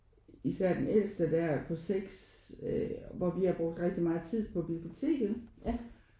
Især den ældste der på 6 hvor vi har brugt rigtig meget tid på biblioteket